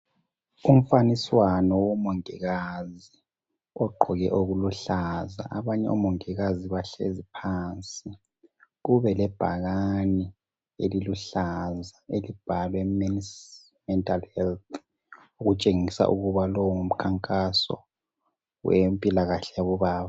Umfaniswano womongikazi ogqoke okuluhlaza. Abanye omongikazi bahlezi phansi. Kube lebhakane eliluhlaza elibhalwe Men's Mental Health. Okutshengisa ukuba owu ngumkhankaso wempilakahle yabobaba.